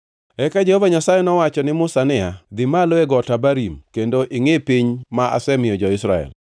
Eka Jehova Nyasaye nowacho ne Musa niya, “Dhi malo e Got Abarim kendo ingʼi piny ma asemiyo jo-Israel.